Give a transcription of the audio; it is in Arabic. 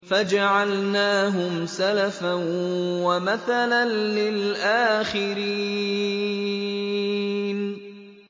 فَجَعَلْنَاهُمْ سَلَفًا وَمَثَلًا لِّلْآخِرِينَ